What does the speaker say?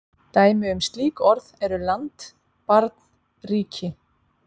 Dæmi um slík orð eru land, barn, ríki.